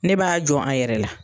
Ne b'a jɔn a yɛrɛ la.